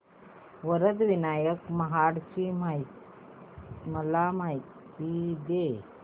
वरद विनायक महड ची मला माहिती दे